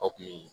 Aw kun